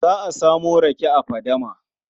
Za a samo rake a fadama.